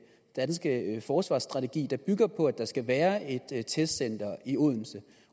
danske forsvarsstrategi der bygger på at der skal være et testcenter i odense